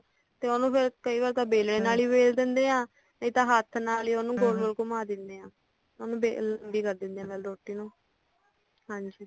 ਤੇ ਕਈ ਵਾਰ ਤਾਂ ਵੇਲਣੇ ਨਾਲ ਹੀ ਵੇਲ ਦਿੰਦੇ ਆ ਨਹੀਂ ਤਾਂ ਹੱਥ ਨਾਲਹੀ ਹੱਮ ਉਹਨੂੰ ਗੋਲ ਗੋਲ ਘੁੰਮਾ ਦਿੰਦੇ ਆ ਵੇਲਣ ਅ ਬਣਾ ਦਿੰਦੇ ਆ ਹਾਂਜੀ